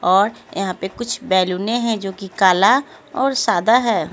और यहां पे कुछ बैलूने है जोकि काला और सादा है।